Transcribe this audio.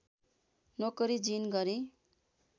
नोकरी जिइन गरेँ